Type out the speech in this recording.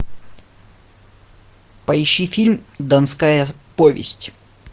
поищи фильм донская повесть